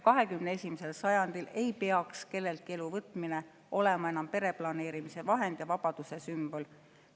21. sajandil ei peaks kelleltki elu võtmine olema enam pereplaneerimise vahend ja vabaduse sümbol.